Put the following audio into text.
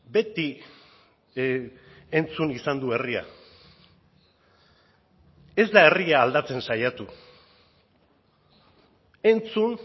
beti entzun izan du herria ez da herria aldatzen saiatu entzun